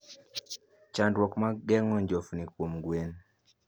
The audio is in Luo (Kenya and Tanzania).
Chandruok mag geng'o njofni kuom gwen.